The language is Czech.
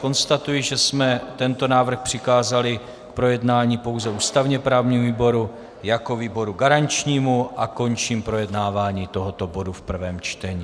Konstatuji, že jsme tento návrh přikázali k projednání pouze ústavně-právnímu výboru jako výboru garančnímu, a končím projednávání tohoto bodu v prvém čtení.